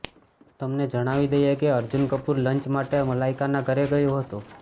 તમને જણાવી દઈએ કે અર્જુન કપૂર લંચ માટે મલાઈકાના ઘરે ગયો હતો